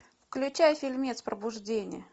включай фильмец пробуждение